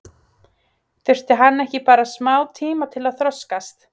Þurfti hann ekki bara smá tíma til að þroskast?